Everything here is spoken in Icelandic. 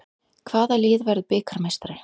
Hvaða lið verður bikarmeistari?